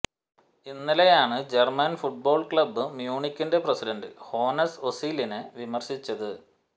ഇന്നലെയാണ് German football club മ്യൂണിക്കിന്റെ president Hoeness ഓസിലിനെ വിമര്ശിച്ചത്